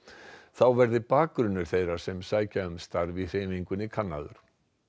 þá verði bakgrunnur þeirra sem sækja um starf í hreyfingunni kannaður